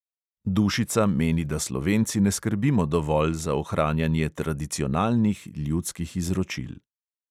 Dušica meni, da slovenci ne skrbimo dovolj za ohranjanje tradicionalnih ljudskih izročil.